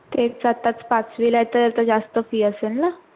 एक तर आताच पाच पाचवीला आहे, तर ते आता जास्त fee असेल ना?